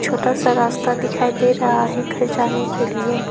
छोटा सा रास्ता दिखाई दे रहा है घर जाने के लिए।